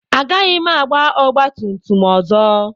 Agaghị m agba ọgba tum tum ọzọ.